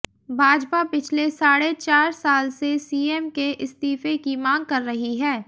भाजपा पिछले साढ़े चार साल से सीएम के इस्तीफे की मांग कर रही है